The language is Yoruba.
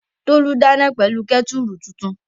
Tolú dáná pẹ̀lú kẹ́tùrù tuntun